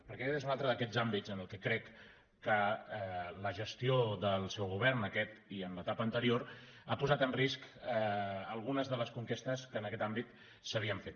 perquè aquest és un altre d’aquests àmbits en què crec que la gestió del seu govern aquest i en l’etapa anterior ha posat en risc algunes de les conquestes que s’havien fet